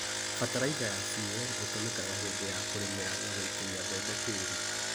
Bataraica ya CAN ĩtũmĩkaga hĩndĩ ya kũrĩmĩra na gũikĩria mbembe tĩĩri.